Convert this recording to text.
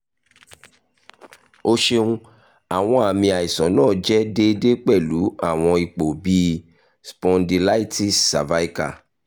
o ṣeun awọn aami aisan naa jẹ deede pẹlu awọn ipo bii spondylitis cervical